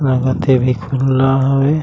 लागत हे अभी ख़ुल्ला हवे।